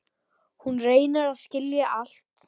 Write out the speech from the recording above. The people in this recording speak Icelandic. Hún reynir að skilja allt.